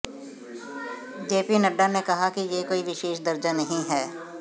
JP Nadda ने कहा कि यह कोई विशेष दर्जा नहीं है